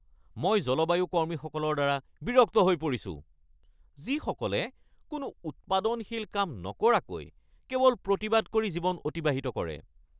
মই জলবায়ু কৰ্মীসকলৰ দ্বাৰা বিৰক্ত হৈ পৰিছো যিসকলে কোনো উৎপাদনশীল কাম নকৰাকৈ কেৱল প্ৰতিবাদ কৰি জীৱন অতিবাহিত কৰে।